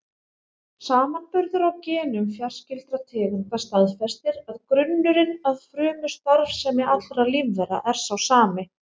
Samanburður á genum fjarskyldra tegunda staðfestir að grunnurinn að frumustarfsemi allra lífvera er sá sami.